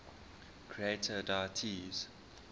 creator deities